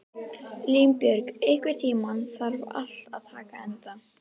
Línbjörg, einhvern tímann þarf allt að taka enda.